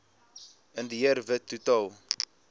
indiër wit totaal